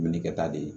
Minni kɛ ta de ye